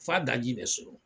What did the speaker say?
F'a daji bɛ surun.